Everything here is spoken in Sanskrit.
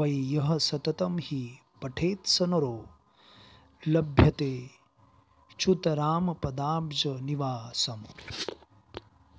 वै यः सततं हि पठेत्स नरो लभतेऽच्युतरामपदाब्जनिवासम्